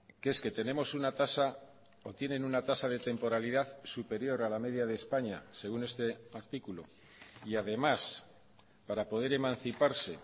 que es que tenemos una tasa o tienen una tasa de temporalidad superior a la media de españa según este artículo y además para poder emanciparse